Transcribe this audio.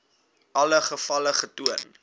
alle gevalle getoon